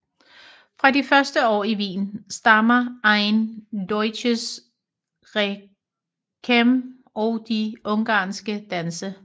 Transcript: Fra de første år i Wien stammer Ein deutsches Requiem og de ungarske danse